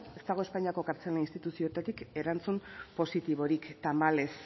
ez dago espainiako kartzela instituzioetatik erantzun positiborik tamalez